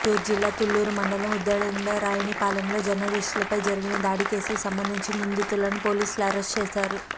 గుంటూరు జిల్లా తుళ్లూరు మండలం ఉద్దండరాయునిపాలెంలో జర్నలిస్టులపై జరిగిన దాడి కేసుకు సంబంధించి నిందితులను పోలీసులు అరెస్ట్ చేశారు